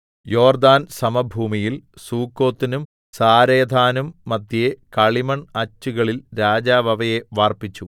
യോർദ്ദാൻ സമഭൂമിയിൽ സുക്കോത്തിനും സാരെഥാനും മദ്ധ്യേ കളിമൺ അച്ചുകളിൽ രാജാവ് അവയെ വാർപ്പിച്ചു